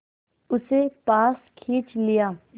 उसे पास खींच लिया